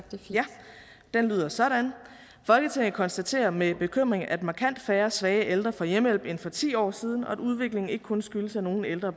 lyder sådan folketinget konstaterer med bekymring at markant færre svage ældre får hjemmehjælp end for ti år siden og at udviklingen ikke kun skyldes at nogle ældre